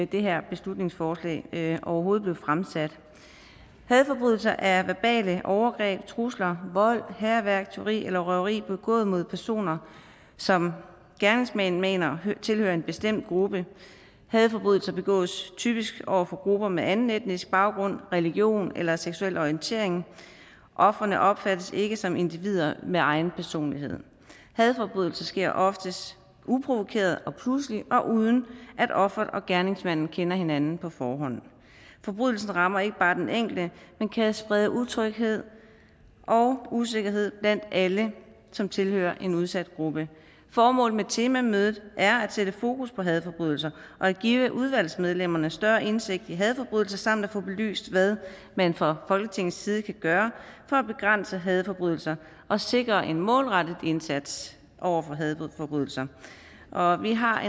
det her beslutningsforslag overhovedet blev fremsat hadforbrydelser er verbale overgreb trusler vold hærværk tyveri eller røveri begået mod personer som gerningsmændene mener tilhører en bestemt gruppe hadforbrydelser begås typisk over for grupper med anden etnisk baggrund religion eller seksuel orientering ofrene opfattes ikke som individer med egen personlighed hadforbrydelser sker oftest uprovokeret og pludselig og uden at offeret og gerningsmanden kender hinanden på forhånd forbrydelsen rammer ikke bare den enkelte men kan sprede utryghed og usikkerhed blandt alle som tilhører en udsat gruppe formålet med temamødet er at sætte fokus på hadforbrydelser og at give udvalgsmedlemmerne større indsigt i hadforbrydelser samt at få belyst hvad man fra folketingets side kan gøre for at begrænse hadforbrydelser og sikre en målrettet indsats over for hadforbrydelser og og vi har